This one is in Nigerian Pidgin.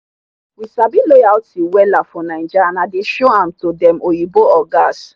we sabi loyalty wella for naija and i dey show am to dem oyinbo ogas